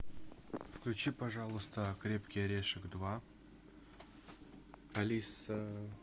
включи пожалуйста крепкий орешек два алиса